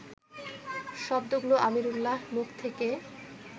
শব্দগুলো আমিরুল্লাহর মুখ থেকে